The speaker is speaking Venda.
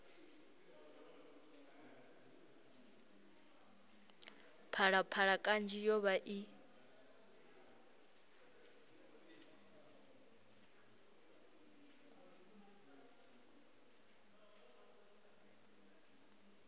phalaphala kanzhi yo vha i